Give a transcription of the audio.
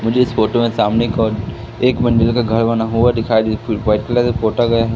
मुझे इस फोटो में सामने की ओर एक मंजिल का घर बना हुआ दिखाई वाइट कलर से पोता गया है।